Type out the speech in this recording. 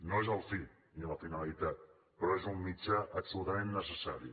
no és la fi ni la finalitat però és un mitjà absolutament necessari